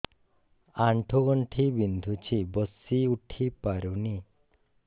ଆଣ୍ଠୁ ଗଣ୍ଠି ବିନ୍ଧୁଛି ବସିଉଠି ପାରୁନି